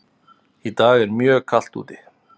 Í dag er mjög kalt úti.